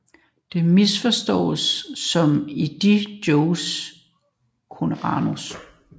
Det misforståes som om de joker coronavirus